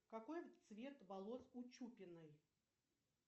какой цвет волос у чупиной